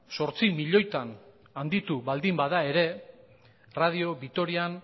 zortzi milioitan handitu baldin bada ere radio vitorian